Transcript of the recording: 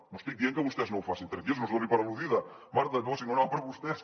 no estic dient que vostès no ho facin tranquils no es doni per al·ludida marta no si no anava per vostès